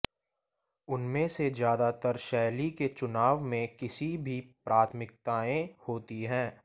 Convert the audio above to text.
उनमें से ज्यादातर शैली के चुनाव में किसी भी प्राथमिकताएं होती हैं